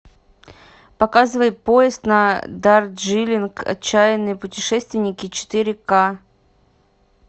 показывай поезд на дарджилинг отчаянные путешественники четыре к